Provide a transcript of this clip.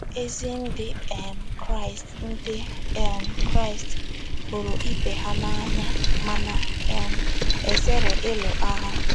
Ezi Ndị um Kraịst Ndị um Kraịst hụrụ ibe ha n’anya ma na um - ezere ịlụ agha.